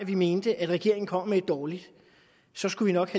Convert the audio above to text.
vi mente at regeringen kom med et dårligt så skulle vi nok